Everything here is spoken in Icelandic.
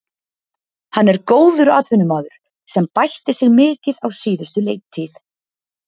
Hann er góður atvinnumaður sem bætti sig mikið á síðustu leiktíð.